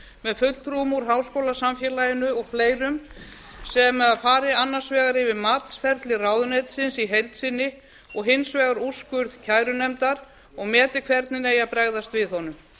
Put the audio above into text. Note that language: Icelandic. með fulltrúum úr háskólasamfélaginu og fleirum sem fari annars vegar yfir matsferli ráðuneytisins í heild sinni og hins vegar úrskurð kærunefndar og meti hvernig eigi að bregðast við honum